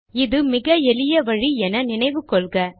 இது மிக எளிய வழி என நினைவு கொள்க